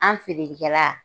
An ferelikɛla